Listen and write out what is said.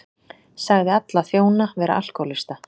Sagði alla þjóna vera alkóhólista